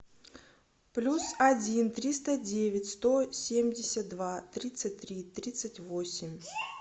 плюс один триста девять сто семьдесят два тридцать три тридцать восемь